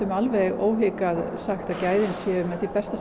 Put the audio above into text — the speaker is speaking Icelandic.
óhikað sagt að gæðin séu með þeim bestu